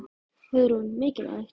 Hugrún: Mikilvægt?